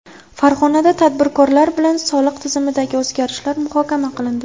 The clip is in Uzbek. Farg‘onada tadbirkorlar bilan soliq tizimidagi o‘zgarishlar muhokama qilindi.